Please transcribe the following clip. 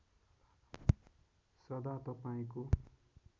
सदा तपाईँको